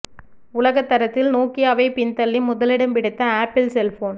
உலக தரத்தில் நொக்கியாவை பின்தள்ளி முதலிடம் பிடித்த அப்பிள் செல்போன்